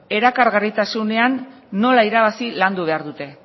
elkargarritasunean nola irabazi landu behar dute